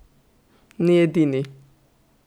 Ni edini!